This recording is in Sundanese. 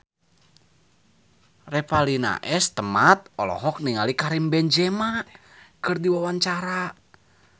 Revalina S. Temat olohok ningali Karim Benzema keur diwawancara